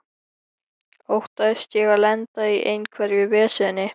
Óttaðist ég að lenda í einhverju veseni?